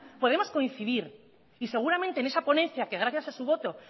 podemos coincidir y seguramente en esa ponencia que gracias a su voto